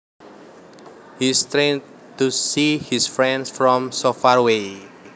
He strained to see his friend from so far away